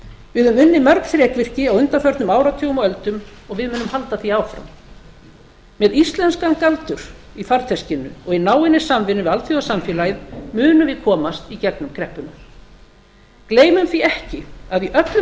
við höfum unnið mörg þrekvirki á undanförnum áratugum og öldum og við munum halda því áfram með íslenskan galdur í farteskinu og í náinni samvinnu við alþjóðasamfélagið munum við komast í gegnum kreppuna gleymum því ekki að í öllum